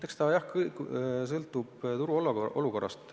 Eks see kõikumine sõltub suurel määral ka turuolukorrast.